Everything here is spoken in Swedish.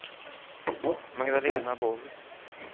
Magdalena Borg